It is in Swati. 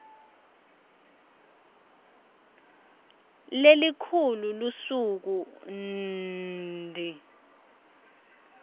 lelikhulu lusuku nnnnnnnnd